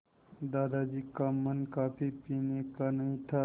दादाजी का मन कॉफ़ी पीने का नहीं था